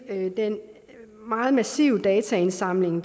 den meget massive dataindsamling